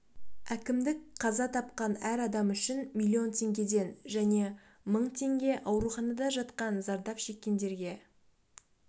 әкімдік қаза тапқан әр адам үшін миллион теңгеден және мың теңге ауруханада жатқан зардап шеккендерге